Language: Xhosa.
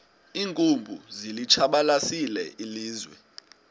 iinkumbi zilitshabalalisile ilizwe